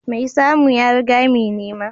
Mai samu ya riga mai nema